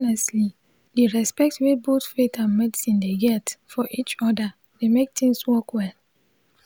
honestly di respect wey both faith and medicine dey get for each other dey mek things work well